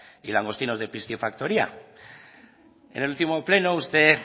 y langostinos de piscifactoría en el último pleno usted